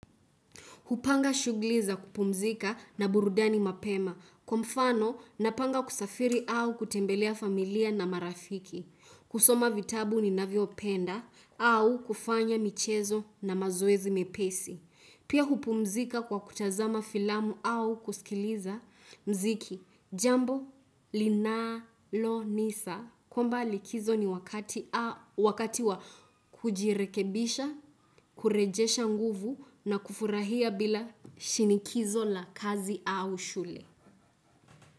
Hupanga shugliza kupumzika na burudani mapema. Kwa mfano, napanga kusafiri au kutembelea familia na marafiki. Kusoma vitabu ni navyo penda au kufanya michezo na mazoezi mepesi. Pia hupumzika kwa kutazama filamu au kusikiliza mziki. Jambo, linalo, nisa. Kwamba likizo ni wakati wa kujirekebisha, kurejesha nguvu na kufurahia bila shinikizo la kazi au shule.